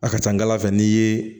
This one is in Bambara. A ka ca ala fɛ n'i ye